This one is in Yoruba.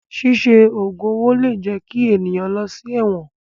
Ṣíṣe ògùn owó lè jẹ kí ènìyàn lọ sí ẹ̀wọ̀n.